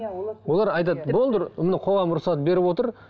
олар айтады болды міне қоғам рұқсат беріп отыр